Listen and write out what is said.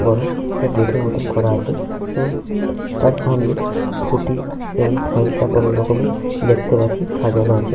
বড় একটা গেট -এর মতো করা আছে এবং তার সামনে ফ্রুটি এবং থাম্প আপ অনেক রকমের দেখতে পাচ্ছি সাজানো আছে।